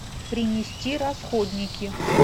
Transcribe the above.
принести расходники